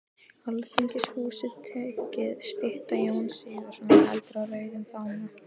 Alþingishúsið tekið, stytta Jóns Sigurðssonar heldur á rauðum fána